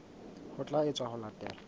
ho tla etswa ho latela